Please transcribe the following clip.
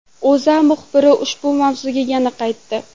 O‘zA muxbiri ushbu mavzuga yana qaytdi .